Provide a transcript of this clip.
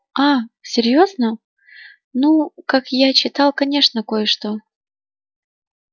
а серьёзно ну как я читал конечно кое-что